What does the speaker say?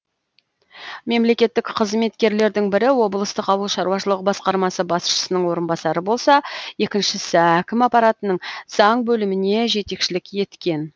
мемлекеттіқ қызметкерлердің бірі облыстық ауыл шаруашылық басқармасы басшысының орынбасары болса екіншісі әкім аппаратының заң бөліміне жетекшілік еткен